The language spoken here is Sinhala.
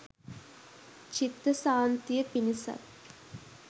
චිත්ත සාන්තිය පිණිසත්